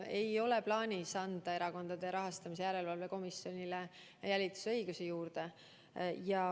Ei ole plaanis anda Erakondade Rahastamise Järelevalve Komisjonile jälitusõigusi juurde.